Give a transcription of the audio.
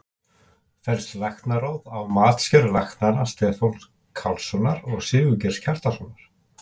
Fellst Læknaráð á matsgerð læknanna Stefáns Carlssonar og Sigurgeirs Kjartanssonar?